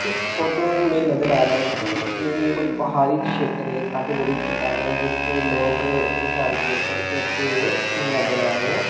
इस फोटो में नजर आ रहा है कि कोई पहाड़ी क्षेत्र है काफी बड़ी चट्टान है जिस पर लोग स्टैंड के ऊपर चढ़ते हुए नज़र आ रहे है।